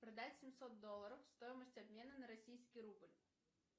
продать семьсот долларов стоимость обмена на российский рубль